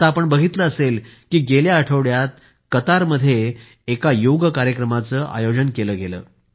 आत्ता आपण बघितले असेल की गेल्या आठवड्यात कतरमध्ये एक योग कार्यक्रमाचे आयोजन केले गेले